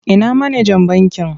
Ina manajan bankin?